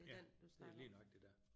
Ja det er lige nøjagtig der